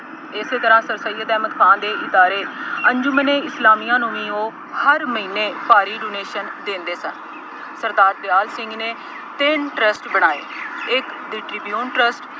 ਇਸੇ ਤਰ੍ਹਾ ਸਰਸਈਅਦ ਅਹਿਮਦ ਖਾਨ ਦੇ ਇਸ਼ਾਰੇ ਅੰਜ਼ੂਮਨੇ ਇਸਲਾਮੀਆਂ ਨੂੰ ਵੀ ਉਹ ਹਰ ਮਹੀਨੇ ਭਾਰੀ donation ਦਿੰਦੇ ਸਨ। ਸਰਦਾਰ ਦਿਆਲ ਸਿੰਘ ਨੇ ਤਿੰਨ trust ਬਣਾਏ। ਇਕ The Tribune trust